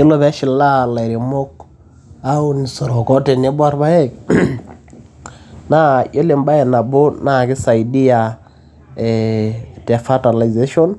Ore pee eshilaa ilairemok aun isoroko tenebo olpaek. Naa yiolo embae nabo naa keisaidia eeh te fertilization